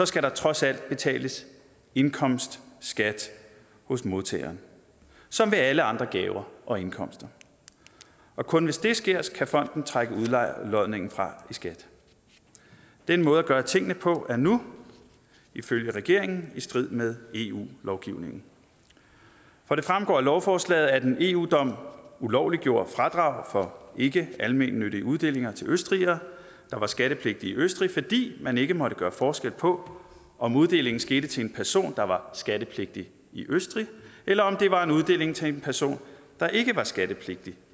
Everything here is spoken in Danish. skal der trods alt betales indkomstskat hos modtageren som med alle andre gaver og indkomster og kun hvis det sker kan fonden trække udlodningen fra i skat den måde at gøre tingene på er nu ifølge regeringen i strid med eu lovgivningen for det fremgår af lovforslaget at en eu dom ulovliggjorde fradrag for ikkealmennyttige uddelinger til østrigere der var skattepligtige i østrig fordi man ikke måtte gøre forskel på om uddelingen skete til en person der var skattepligtig i østrig eller om det var en uddeling til en person der ikke var skattepligtig